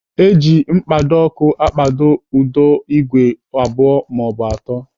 Eji mkpado ọkụ akpado ụdọ igwe abụọ maọbụ atọ.